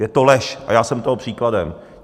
Je to lež a já jsem toho příkladem.